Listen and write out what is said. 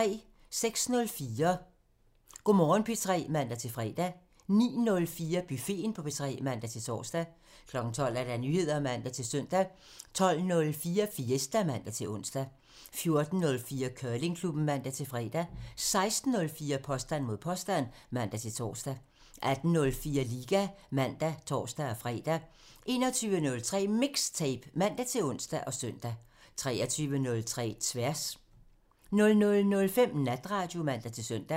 06:04: Go' Morgen P3 (man-fre) 09:04: Buffeten på P3 (man-tor) 12:00: Nyheder (man-søn) 12:04: Fiesta (man-ons) 14:04: Curlingklubben (man-fre) 16:04: Påstand mod påstand (man-tor) 18:04: Liga (man og tor-fre) 21:03: MIXTAPE (man-ons og søn) 23:03: Tværs (man) 00:05: Natradio (man-søn)